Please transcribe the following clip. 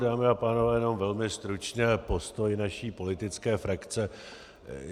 Dámy a pánové, jenom velmi stručně postoj naší politické frakce.